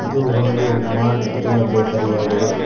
ಇದು ಒಂದು ಮಾರ್ಟ್ ಅಥವಾ ಬೇಕರಿಯಾಗಿದೆ.